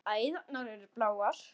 Æðarnar eru bláar.